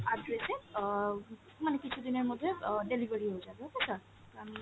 address এ অ মানে কিছুদিনের মধ্যে অ delivery হয়ে যাবে okay sir, আপনি।